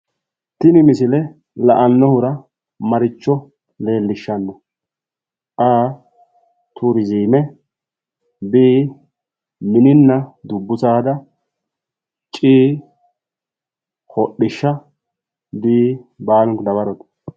Tini misile la"annohura maricho Leellishshanno? a) turiziime b) mininna dubbu saada c) hodhishsha d) baalunku dawarote